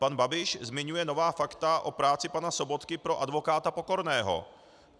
Pan Babiš zmiňuje nová fakta o práci pana Sobotky pro advokáta Pokorného.